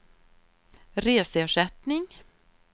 reseersättning